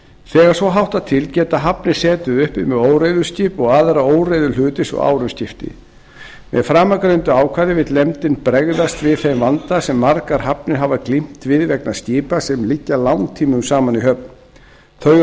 þegar svo háttar til geta hafnir setið uppi með óreiðuskip og aðra óreiðuhluti svo árum skiptir með framangreindu ákvæði vill nefndin bregðast við þeim vanda sem margar hafnir hafa glímt við vegna skipa sem liggja langtímum saman í höfn þau eru